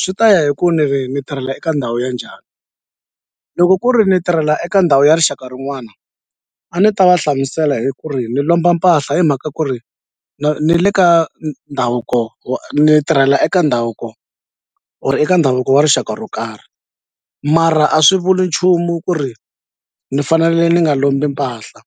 Swi ta ya hi ku ni ri ni tirhela eka ndhawu ya njhani loko ku ri ni tirhela eka ndhawu ya rixaka rin'wana a ni ta va hlamusela hi ku ri ni lomba mpahla hi mhaka ku ri ni le ka ndhavuko wa ni tirhela eka ndhavuko or eka ndhavuko wa rixaka ro karhi mara a swi vuli nchumu ku ri ni fanele ni nga lombi mpahla